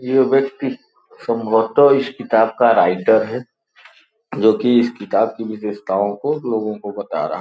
ये व्यक्ति संभवतः इस किताब का राइटर है जो कि इस किताब की विशेषताओं को लोगों को बता।